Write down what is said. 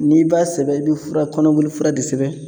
N'i b'a sɛbɛn i bɛ fura kɔnɔboli fura de sɛbɛn